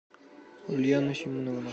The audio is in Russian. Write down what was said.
ульяна семеновна